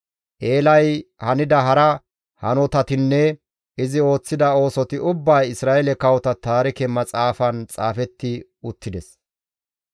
Eelay hanida hara hanotatinne izi ooththida oosoti ubbay Isra7eele kawota taarike maxaafan xaafetti uttides.